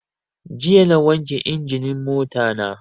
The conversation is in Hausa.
Jiya na wanke injinin mota na